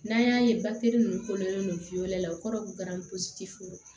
N'an y'a ye nunnu kololen do la o kɔrɔ ye ko